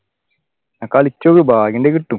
കളിചോളൂ ഭാഗ്യമുണ്ടെങ്കിൽ കിട്ടും